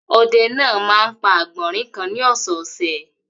Ọdẹ náà máa ń pa àgbọ̀rìn kan ní ọ̀sẹ̀ẹ̀sẹ̀.